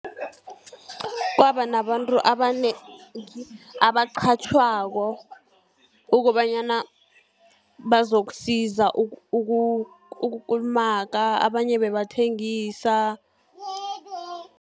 Kwaba nabantu abanengi abaqatjhwako, kobanyana bazokusiza ukukulumaga abanye bebathengisa.